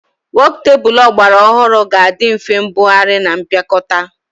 Wokutebụl ọgbara ọhụrụ ga-adị nfe mbugharị na mpịakọta